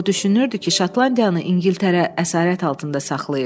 O düşünürdü ki, Şotlandiyanı İngiltərə əsarət altında saxlayır.